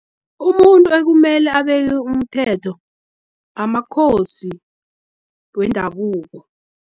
Umuntu ekumele abeke umthetho, amakhosi wendabuko.